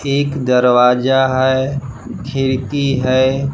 एक दरवाजा है खिड़की है।